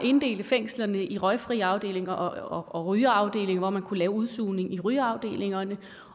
inddele fængslerne i røgfri afdelinger og rygerafdelinger hvor man kunne lave udsugning i rygerafdelingerne